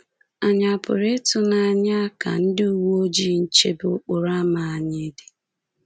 Ànyị a pụrụ ịtụ n'anya ka ndị uwe ojii nchebe okporo ámá anyị dị?